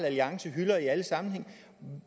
alliance hylder i alle sammenhænge